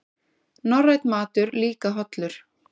Norrænn matur líka hollur